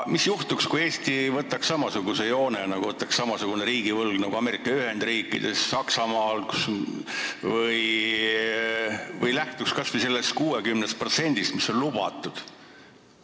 Mis juhtuks, kui Eesti võtaks samasuguse joone, et meil on riigivõlg nagu Ameerika Ühendriikides või Saksamaal, või lähtuks kas või sellest 60%-st, mis on lubatud?